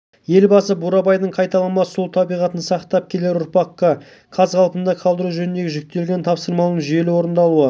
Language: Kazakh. әрдайым ақмола көкше өңірлерінің өзекті мәселелерін өз назарында ұстап соларды шешуге қашан болсын қамқорлық жасап келетін